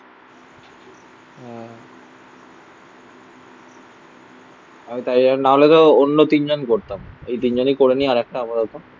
হ্যাঁ. আমি তাই জন্য না হলে তো অন্য তিনজন করতাম. এই তিনজনেই করে নিই. আরেকটা আপাতত